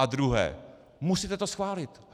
A druhé: Musíte to schválit!